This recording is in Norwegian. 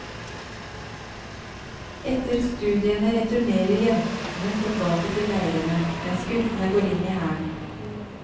Etter studiene returnerer jentene tilbake til leirene, mens guttene går inn i hæren.